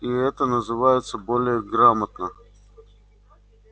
и это называется более грамотно